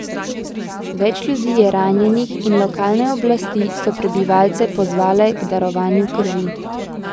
Več ljudi je ranjenih in lokalne oblasti so prebivalce pozvale k darovanju krvi.